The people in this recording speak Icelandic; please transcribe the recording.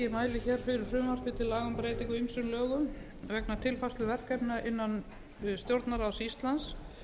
laga um breytingu á ýmsum lögum vegna tilfærslu verkefna innan stjórnarráðs íslands